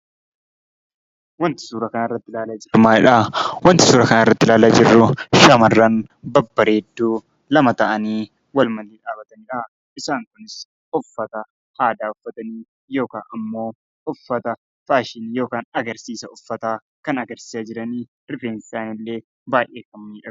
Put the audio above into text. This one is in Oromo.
Wanti suuraa kana irratti ilaalaa jirru maalidhaa? wanti suura kanarratti laalaa jiru shamarran babbareedduu lama ta'anii walmaddii dhaabatanidha. Isaan kunis uffata aadaa uffatanii yookaan ammoo uffata faashinii yookaan agarsiisa uffataa kan agarsiisa jiranii rifeensi isaaniillee baay'ee kan miidhagu.